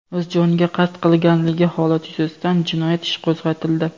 o‘z joniga qasd qilganligi holati yuzasidan jinoyat ishi qo‘zg‘atildi.